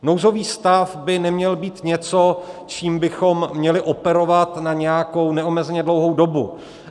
Nouzový stav by neměl být něco, čím bychom měli operovat na nějakou neomezeně dlouhou dobu.